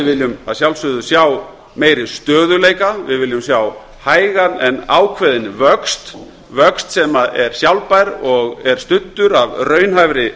viljum að sjálfsögðu sjá meiri stöðugleika við viljum sjá hægan en ákveðinn vöxt vöxt sem er sjálfbær og er studdur af raunhæfri